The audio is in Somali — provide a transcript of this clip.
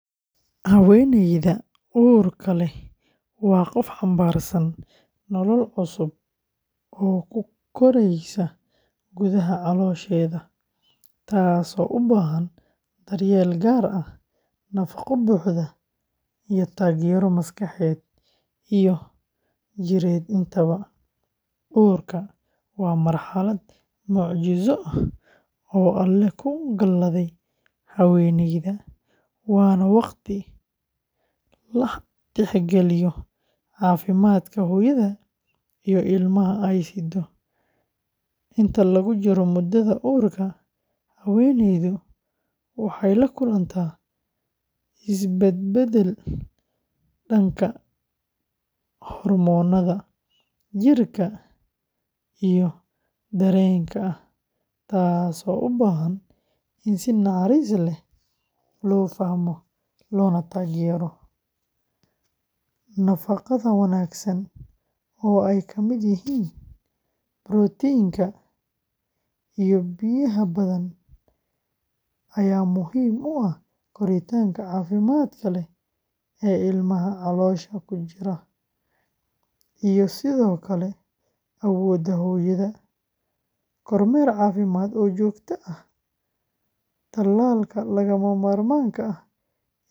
Haweeneyda uurka leh waa qof xambaarsan nolol cusub oo ku koraysa gudaha caloosheeda, taasoo u baahan daryeel gaar ah, nafaqo buuxda, iyo taageero maskaxeed iyo jireed intaba. Uurka waa marxalad mucjiso ah oo Alle ku galaday haweeneyda, waana waqti la tixgeliyo caafimaadka hooyada iyo ilmaha ay siddo. Inta lagu jiro muddada uurka, haweeneydu waxay la kulantaa isbedbeddel dhanka hormoonnada, jidhka, iyo dareenka ah, taasoo u baahan in si naxariis leh loo fahmo loogana taageero. Nafaqada wanaagsan oo ay ka mid yihiin borotiin, iyo biyaha badan ayaa muhiim u ah koritaanka caafimaadka leh ee ilmaha caloosha ku jira, iyo sidoo kale awoodda hooyada. Kormeer caafimaad oo joogto ah, talaalka lagama maarmaanka ah.